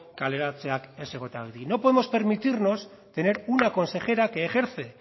kaleratzeak ez egotea y no podemos permitirnos tener una consejera que ejerce